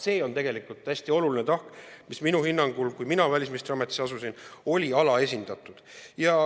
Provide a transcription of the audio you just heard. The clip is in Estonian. See on hästi oluline tahk, mis minu hinnangul oli siis, kui mina välisministriametisse asusin, alaesindatud.